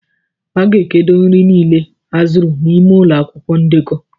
A ga-edekọ nri niile azụrụ n'ime akwụkwọ ndekọ.